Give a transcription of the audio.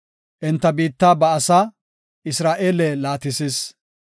Enta biitta ba asaa, Isra7eele laatisis.